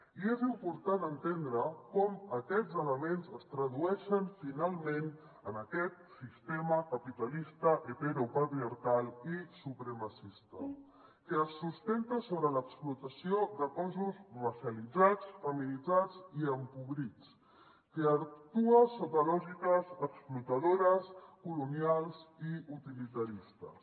i és important entendre com aquests elements es tradueixen finalment en aquest sistema capitalista heteropatriarcal i supremacista que es sustenta sobre l’explotació de cossos radicalitzats feminitzats i empobrits que actua sota lògiques explotadores colonials i utilitaristes